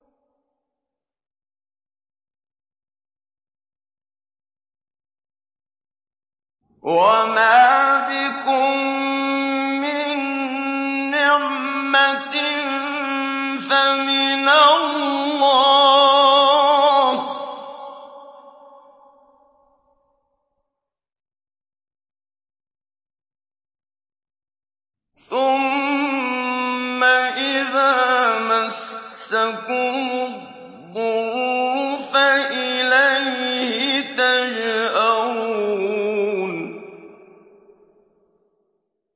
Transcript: وَمَا بِكُم مِّن نِّعْمَةٍ فَمِنَ اللَّهِ ۖ ثُمَّ إِذَا مَسَّكُمُ الضُّرُّ فَإِلَيْهِ تَجْأَرُونَ